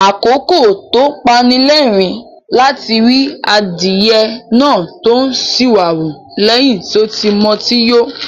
Àkókò tó ń pani lẹ́rìn-ín ni láti ri adìyẹ náà tó ń ṣìwàwù lẹ́yìn tí ó ti mutí yó.